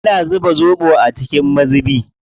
Ina zuba zoɓo a cikin mazubi.